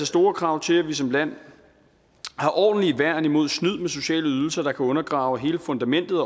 store krav til at vi som land har ordentlige værn imod snyd med sociale ydelser der kan undergrave hele fundamentet